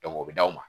o bɛ d'aw ma